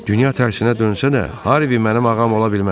Dünya tərsnə dönsə də, Harvi mənim ağam ola bilməz.